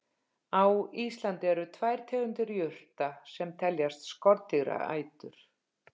Á Íslandi eru tvær tegundir jurta sem teljast skordýraætur.